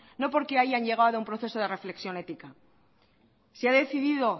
no porque hayan llegado a un proceso de reflexión ética si ha decidido